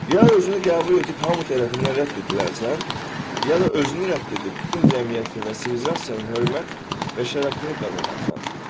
Ya özünü qəbul edib hamı tərəfindən rədd edilərsən, ya da özünü rədd edib bütün cəmiyyətin və sivilizasiyanın hörmət və şərəfini qazanarsan.